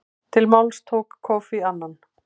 Til máls tók Kofi Annan.